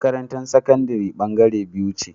Makarantar sakandari bangare biyu ce